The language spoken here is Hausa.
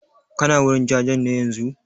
Kana wurin jajen ne yanzun?